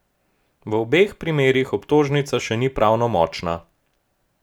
V obeh primerih obtožnica še ni pravnomočna.